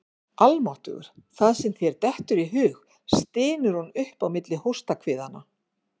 Almáttugur, það sem þér dettur í hug, stynur hún upp á milli hóstahviðanna.